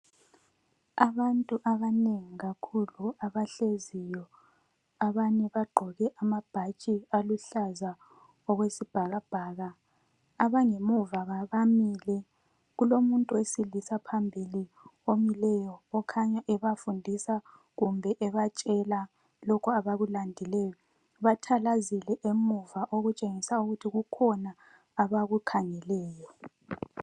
Abantu abanengi kakhulu abahleziyo, abanye bagqoke amabhatshi aluhlaza okwesibhakabhaka. Abangemuva bamile, kulo muntu wesilisa phambili omileyo okhanya ebafundisa kumbe ebatshela lokhu abakulandileyo. Bathalazile emuva okutshengisa ukuthi kukhona abakukhangeleyo.